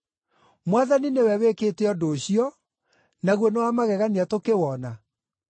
Mwathani nĩwe wĩkĩte ũndũ ũcio, naguo nĩ wa magegania tũkĩwona’?”